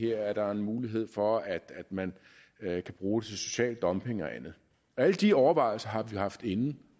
er der en mulighed for at man kan bruge social dumping og andet alle de overvejelser har vi jo haft inde